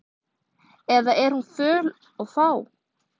Eða er hún föl og fá?